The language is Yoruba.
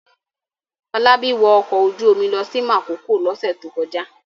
Fọlábí wọ ọkọ̀ ojú-omi lọ sí Makòko lọ́sẹ̀ tó kọjá?